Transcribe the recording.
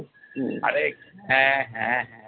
হ্যাঁ হ্যাঁ হ্যাঁ